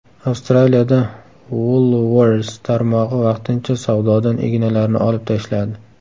Avstraliyada Woolworths tarmog‘i vaqtincha savdodan ignalarni olib tashladi.